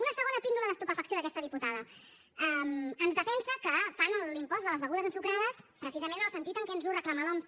una segona píndola d’estupefacció d’aquesta diputada ens defensa que fan l’impost de les begudes ensucrades precisament en el sentit que ens ho reclama l’oms